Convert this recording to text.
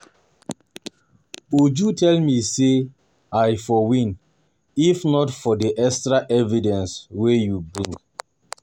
Uju tell me say I for win if not for the extra evidence wey you bring